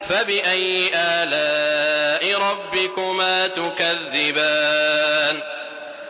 فَبِأَيِّ آلَاءِ رَبِّكُمَا تُكَذِّبَانِ